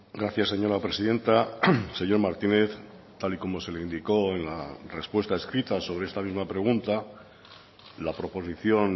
gracias señora presidenta señor martínez tal y como se le indicó en la respuesta escrita sobre esta misma pregunta la proposición